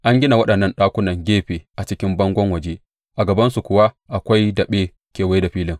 An gina waɗannan ɗakunan gefe a jikin bangon waje, a gabansu kuwa akwai daɓe kewaye da filin.